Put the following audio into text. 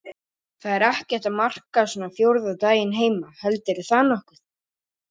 Það er ekkert að marka svona fjórða daginn heima heldurðu það nokkuð?